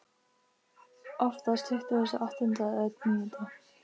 Oftast tuttugasta og áttunda eða níunda.